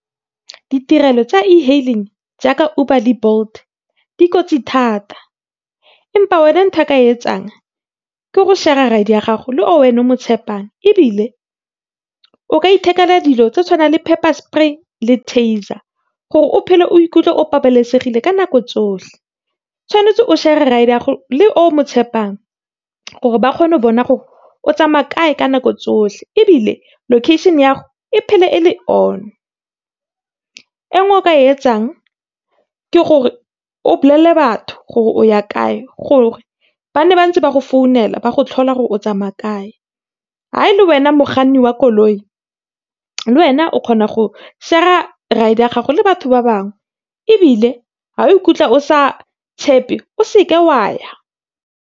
Ditirelo tsa e-hailing jaaka Uber le Bolt, dikotsi thata, empa wena ntho eo ka e etsang ke go share-a ride ya gago, le o wena o mo tshepang, ebile o ka ithekela dilo tse tshwanang le pepper spray le taser, gore o phele o ikutlwe, o babalesegile ka nako tsotlhe. Tshwanetse o share-e ride ya gago le o mo tshepang, gore ba kgone go bona o tsamaya kae ka nako tsohle. Ebile, location ya go, e phele e le on. E nngwe eo o ka e etsang, ke gore o bolelele batho gore o ya kae, gore ba nne bantse ba go phone-ela ba go tlhola gore o tsamaya kae. Ha e le wena mokganni wa koloi, le wena o kgona go share-a ride-e ya gago le batho ba bangwe. Ebile, ha o ikutlwa o sa tshepe, o se ke o a ya.